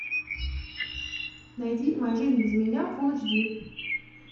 найди моя жизнь без меня фул эйч ди